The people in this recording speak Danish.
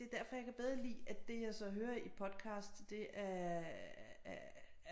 Det derfor jeg kan bedre lide at det jeg så hører i podcast det er er er